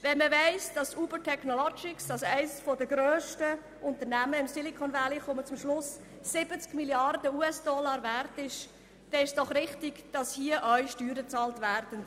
Wenn man weiss, dass Uber Technologies, als eines der grössten Unternehmen im Silicon Valley, 70 Mrd. USDollar wert ist, dann ist doch richtig, dass hier auch Steuern bezahlt werden.